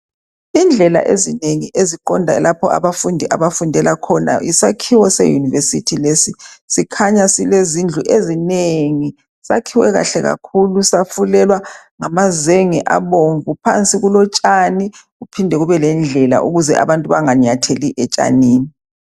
Indlela ezinengi eziqonda lapho abafundi abafundela khona yisakhiwo seyunivesithi lesi sikhanya silezindlu ezinengi sakhiwe kahle kakhulu safulelwa ngamazenge abomvu phansi kulotshani kuphinde kube lendlela ukuze abantu banganyatheli etshanini.